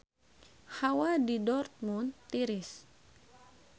Hawa di Dortmund tiris